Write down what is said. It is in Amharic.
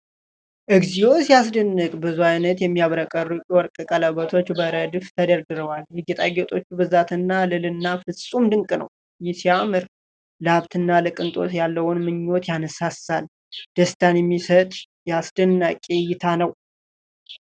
እግዚኦ ሲያስደንቅ! ብዙ ዓይነት የሚያብረቀርቁ የወርቅ ቀለበቶች በረድፍ ተደርድረዋል። የጌጣጌጦቹ ብዛትና ልዕልና ፍፁም ድንቅ ነው። ሲያምር! ለሀብትና ለቅንጦት ያለውን ምኞት ያነሳሳል። ደስታን የሚሰጥ አስደናቂ እይታ ነው።